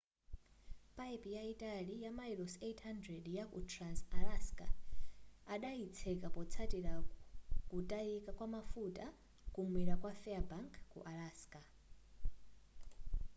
payipi yayitali mamayilosi 800 yaku trans-alaska adayitseka potsatira kutayika kwamafuta kumwera kwa fairbank ku alaska